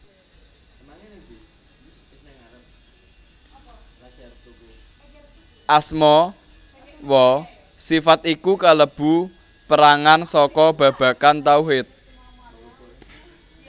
Asma wa sifat iku kalebu perangan saka babagan tauhid